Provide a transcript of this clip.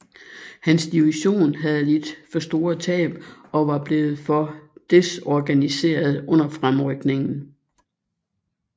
Hans division havde lidt for store tab og var blevet for desorganiseret under fremrykningen